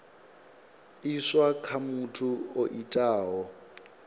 iswa kha muthu o itaho